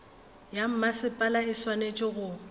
ya mmasepala e swanetše go